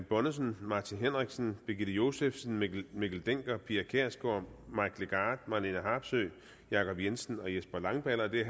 bonnesen martin henriksen birgitte josefsen mikkel mikkel dencker pia kjærsgaard mike legarth marlene harpsøe jacob jensen og jesper langballe og det er